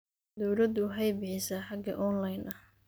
Dawladdu waxay bixisaa hage online ah.